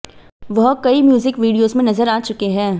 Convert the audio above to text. वह कई music videos में नजर आ चुके हैं